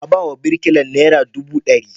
A ba wa birikilar nera dubu ɗari.